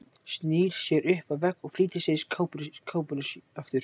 Snýr sér upp að vegg og flýtir sér í kápuna aftur.